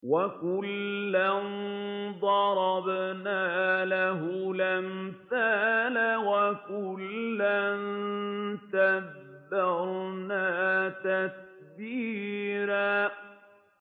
وَكُلًّا ضَرَبْنَا لَهُ الْأَمْثَالَ ۖ وَكُلًّا تَبَّرْنَا تَتْبِيرًا